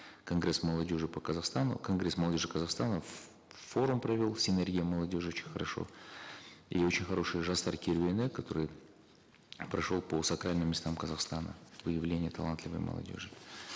конгресс молодежи по казахстану конгресс молодежи казахстана форум провел синергия молодежи очень хорошо и очень хороший жастар керуені который прошел по сакральным местам казахстана выявление талантливой молодежи